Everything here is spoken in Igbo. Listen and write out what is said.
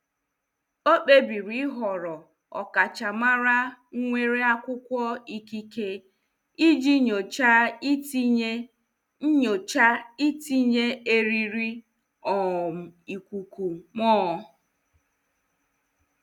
Ọ kpebiri ịhọrọ ọkachamara nwere akwụkwọ ikike iji nyocha itinye nyocha itinye eriri um ikuku mụọ.